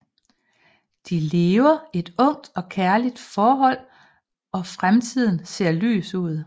De lever et ungt og kærligt forhold og fremtiden ser lys ud